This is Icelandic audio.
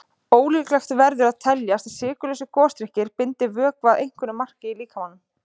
Ólíklegt verður að teljast að sykurlausir gosdrykkir bindi vökva að einhverju marki í líkamanum.